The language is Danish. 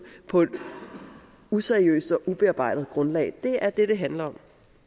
på et useriøst og ubearbejdet grundlag det er det det handler